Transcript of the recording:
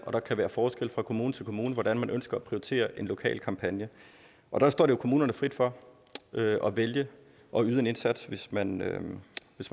og der kan være forskelle fra kommune til kommune i hvordan man ønsker at prioritere en lokal kampagne og der står det jo kommunerne frit for at vælge at yde en indsats hvis man